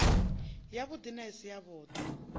yavhuḓi na i si yavhuḓi